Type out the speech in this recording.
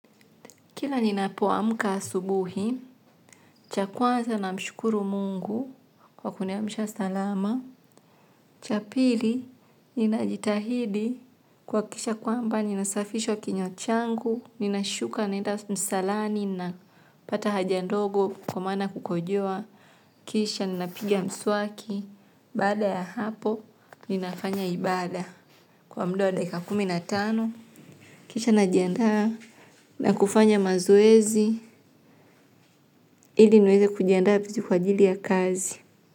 Kila ninapoamka asubuhi, cha kwanza namshukuru mungu kwa kuniamsha salama. Cha pili, ninajitahidi kuhakikisha kwamba ninasafisha kinywa changu, ninashuka naenda msalani napata haja ndogo kwa maana ya kukojoa. Kisha, ninapiga mswaki, baada ya hapo, ninafanya ibada. Kwa muda wa dakika kumi na tano, kisha najiandaa na kufanya mazoezi, ili niweze kujiandaa kwa ajili ya kazi.